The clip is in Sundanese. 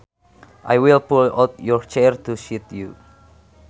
I will pull out your chair to seat you